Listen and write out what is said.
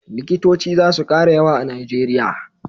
likitoci zasu kara yawa a nigeria